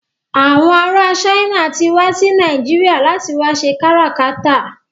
Àwọn ará China ti wá sí Nàìjíríà láti wá ṣe káràkátà.